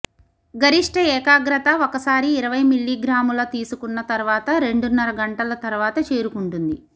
గరిష్ట ఏకాగ్రత ఒకసారి ఇరవై మిల్లీగ్రాముల తీసుకున్న తర్వాత రెండున్నర గంటల తర్వాత చేరుకుంటుంది